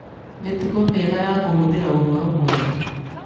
Mĩtugo mĩega ya kũhũthĩra ũhoro wega: